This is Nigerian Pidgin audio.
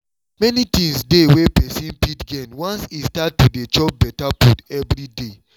many things dey wey person fit gain once e start to dey chop better food every day